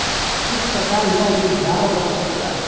इस प्रकार यह युद्ध बारह वर्षों तक चला